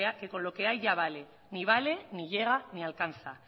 que con lo que hay ya vale ni vale ni llega ni alcanza